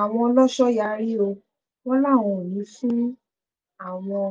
àwọn ọlọ́ṣọ́ yarí o wọ́n láwọn ò ní í fún àwọn